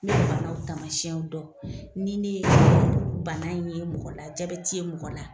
Ɲe banaw taamasiyɛnw dɔ, ni ne ye bana in ye mɔgɔ la jabɛti ye mɔgɔ la